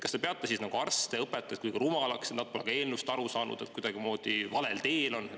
Kas te peate siis arste ja õpetajaid kuidagi rumalaks, et nad pole ka eelnõust aru saanud ja on kuidagimoodi valel teel?